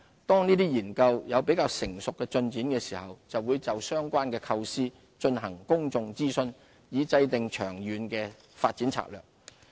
當研究有較成熟的進展時，會就相關構思進行公眾諮詢，以制訂長遠發展策略。